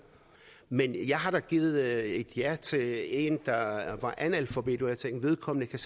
men jeg har da givet et ja til en der var analfabet hvor jeg tænkte vedkommende kan